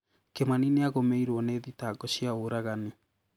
Kĩmani nĩagũmĩirũo nĩ thitango cia ũragani